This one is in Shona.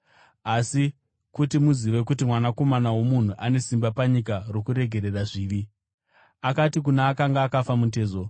Asi kuti muzive kuti Mwanakomana woMunhu ane simba panyika rokuregerera zvivi.” Akati kuna akanga akafa mutezo,